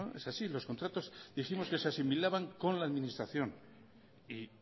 es así los contratos dijimos que se asimilaban con la administración y